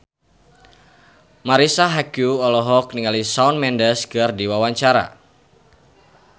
Marisa Haque olohok ningali Shawn Mendes keur diwawancara